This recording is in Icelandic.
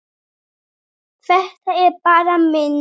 Þetta eru bara myndir!